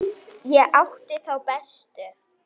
Ég átti þá bestu.